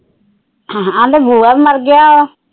ਆ ਲੈ ਬੂਆ ਵੀ ਮਰ ਗਿਆ।